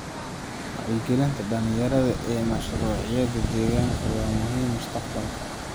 Wacyigelinta dhalinyarada ee mashruucyada deegaanka waa muhiim mustaqbalka.